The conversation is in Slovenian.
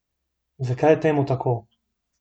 Zakaj je temu tako?